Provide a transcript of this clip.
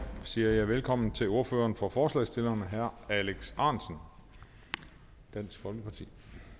siger jeg velkommen til ordføreren for forslagsstillerne herre alex ahrendtsen dansk folkeparti